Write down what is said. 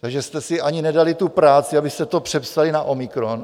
Takže jste si nedali ani tu práci, abyste to přepsali na omikron.